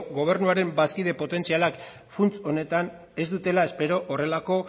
gobernuaren bazkide potentzialak funts honetan ez dutela espero horrelako